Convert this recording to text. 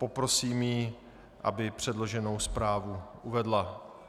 Poprosím ji, aby předloženou zprávu uvedla.